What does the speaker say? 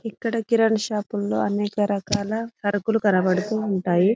ఇక్కడ కిరణం షాప్ లో అనేక రకాల సరుకులు కనపడుతు ఉంటాయి.